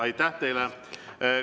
Aitäh teile!